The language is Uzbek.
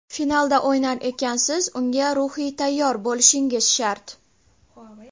Finalda o‘ynar ekansiz, unga ruhiy tayyor bo‘lishingiz shart.